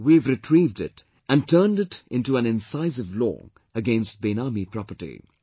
We have retrieved it and turned it into an incisive law against 'Benami Property'